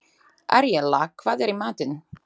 Aríella, hvað er í matinn?